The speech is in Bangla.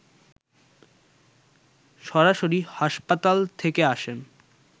সরাসরি হাসপাতাল থেকে আসেন